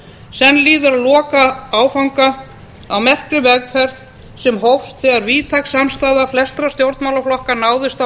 senn líður að lokaáfanga á merkri vegferð sem hófst þegar víðtæk samstaða flestra stjórnmálaflokka náðist á